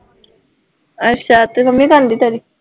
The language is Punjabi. ਅੱਛਾ ਅਤੇ ਮੰਮੀ ਤਾਂ ਹੁੰਦੀ ਤੇਰੀ